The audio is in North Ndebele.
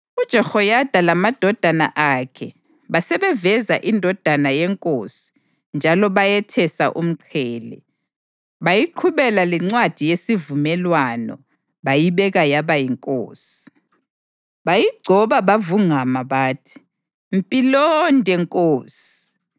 UJehoyada lamadodana akhe basebeveza indodana yenkosi njalo bayethesa umqhele; bayiqhubela lencwadi yesivumelwano bayibeka yaba yinkosi. Bayigcoba bavungama bathi: “Mpilonde nkosi!”